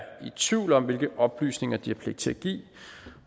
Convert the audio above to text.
i tvivl om hvilke oplysninger de har pligt til at give